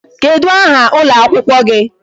Kedụ aha ụlọ akwụkwọ gị?